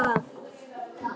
Anna Dóra!